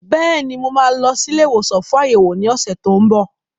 Bẹ́ẹ̀ni, mo máa lọ sí ilé ìwòsàn fún àyẹ̀wò ní ọ̀sẹ̀ tó ń bọ̀.